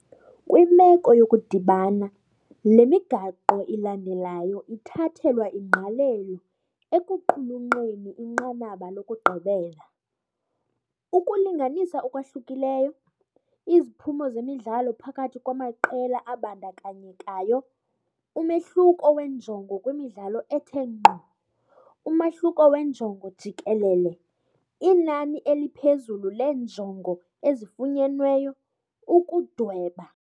Kwimeko yokudibana, le migaqo ilandelayo ithathelwa ingqalelo ekuqulunqeni inqanaba lokugqibela- ukulinganisa okwahlukileyo, iziphumo zemidlalo phakathi kwamaqela abandakanyekayo, umehluko wenjongo kwimidlalo ethe ngqo, umahluko wenjongo jikelele, inani eliphezulu leenjongo ezifunyenweyo, ukudweba.